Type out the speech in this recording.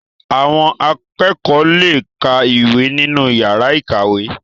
Àwọn akẹ́kọ̀ọ́ le ka ìwé nínú yàrá ìkàwé.